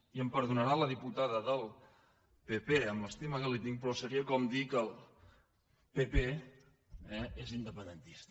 i em perdonarà la dipu·tada del pp amb l’estima que li tinc però seria com dir que el pp eh és independentista